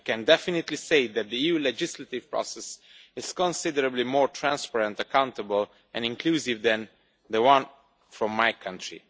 I can definitely say that the EU legislative process is considerably more transparent, accountable and inclusive than the one from my country.